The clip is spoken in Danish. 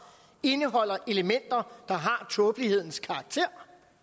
indeholder elementer der har tåbelighedens karakter